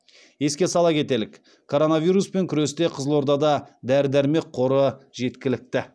еске сала кетелік коронавируспен күресте қызылордада дәрі дәрмек қоры жеткілікті